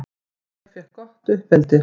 Ég fékk gott uppeldi.